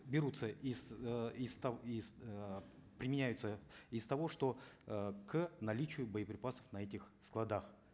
берутся из э из из эээ применяются из того что э к наличию боеприпасов на этих складах